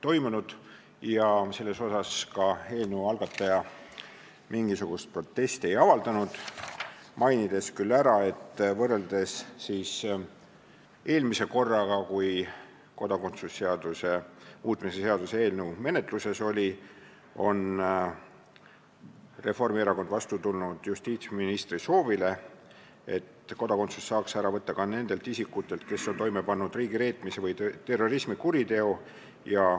Eelnõu algataja selle peale mingisugust protesti ei avaldanud, üksnes mainis, et võrreldes eelmise korraga, kui kodakondsuse seaduse muutmise seaduse eelnõu menetluses oli, on Reformierakond vastu tulnud justiitsministri soovile, et kodakondsuse saaks ära võtta ka nendelt isikutelt, kes on toime pannud riigireetmise või terrorismikuriteo.